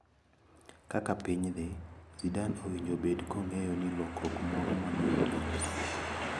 Kaka piny dhi, Zidane owinjo obed kong`eyo ni lokruok moro maduong` nyalo sieko.